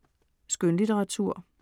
Skønlitteratur